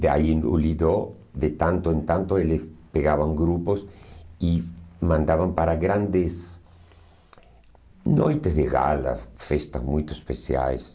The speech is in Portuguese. Daí o Lido, de tanto em tanto, eles pegavam grupos e mandavam para grandes noites de gala, festas muito especiais.